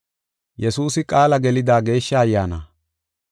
Ta sunthan aybibaaka hinte oychiko ta hintew oothana.